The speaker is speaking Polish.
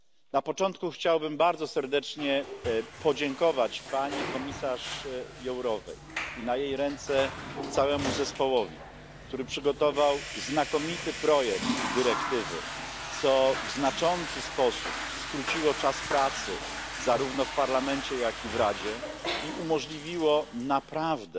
Na początku chciałbym bardzo serdecznie podziękować pani komisarz Jourovej i na jej ręce złożyć podziękowanie całemu zespołowi, który przygotował znakomity projekt dyrektywy, co w znaczący sposób skróciło czas pracy, zarówno w Parlamencie, jak i w Radzie, i umożliwiło naprawdę